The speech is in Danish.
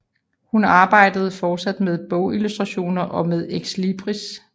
Hun arbejdede fortsat med bogillustrationer og med exlibris